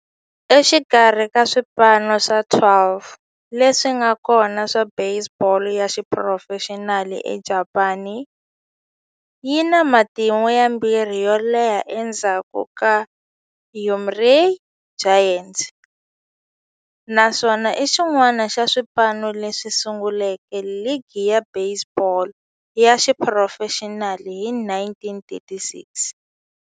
Exikarhi ka swipano swa 12 leswi nga kona swa baseball ya xiphurofexinali eJapani, yi na matimu ya vumbirhi yo leha endzhaku ka Yomiuri Giants, naswona i xin'wana xa swipano leswi sunguleke ligi ya baseball ya xiphurofexinali hi 1936.